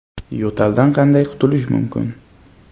Yo‘taldan qanday qutulish mumkin?